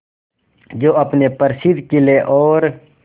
जो अपने प्रसिद्ध किले और